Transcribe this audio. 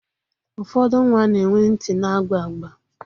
Ụfọdụ nwa na-enwe ntị na-agba agba.